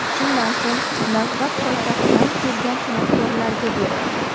Shundan so‘ng navbat poytaxtdan kelgan san’atkorlarga berildi.